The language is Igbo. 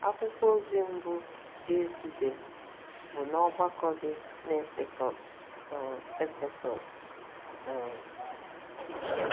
Akwụkwọ ozi mbụ Jesu dere bụ n'ọgbakọ dị n'Efesọs um. n'Efesọs um.